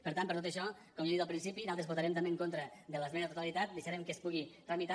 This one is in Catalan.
per tant per tot això com ja he dit al principi nosaltres votarem també en contra de l’esmena a la totalitat deixarem que es pugui tramitar